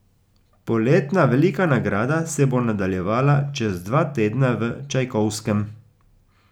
Poletna velika nagrada se bo nadaljevala čez dva tedna v Čajkovskem.